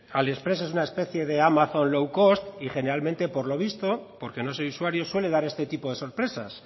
aliexpress es una especie de amazon lowcost y generalmente por lo visto porque no soy usuario suele dar este tipo de sorpresas